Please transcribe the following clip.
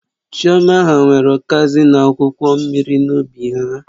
Chioma ha nwere ukazi na akwụkwọ mmiri n'ubi ha